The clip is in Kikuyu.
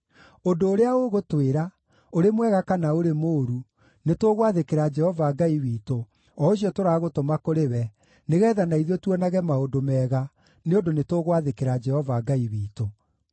Ũndũ ũrĩa ũgũtwĩra, ũrĩ mwega kana ũrĩ mũũru, nĩtũgwathĩkĩra Jehova Ngai witũ, o ũcio tũragũtũma kũrĩ we, nĩgeetha na ithuĩ tuonage maũndũ mega, nĩ ũndũ nĩtũgwathĩkĩra Jehova Ngai witũ.”